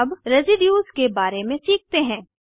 अब रेसीड्यूज़ के बारे में सीखते हैं